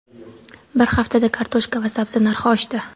Bir haftada kartoshka va sabzi narxi oshdi.